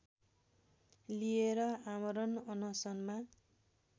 लिएर आमरण अनसनमा